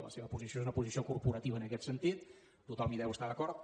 la seva posició és una posició corporativa en aquest sentit tothom hi deu estar d’acord